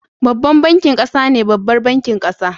Babban bankin ƙasa ne babbar bankin ƙasa